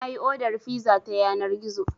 Na yi odar fiza ta yanar gizo.